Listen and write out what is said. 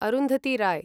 Arundhati Roy